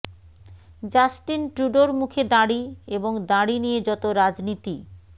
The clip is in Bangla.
জাস্টিন ট্রুডোর মুখে দাড়ি এবং দাড়ি নিয়ে যত রাজনীতি